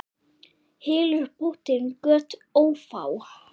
Hylur bótin göt ófá.